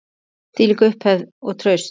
Þvílík upphefð og traust.